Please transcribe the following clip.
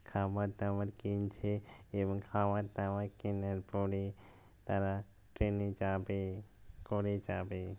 খাবার দাবার কিনছে এবং খাবার দাবা কেনার পরে তারা ট্রেন এ যাবে করে যাবে।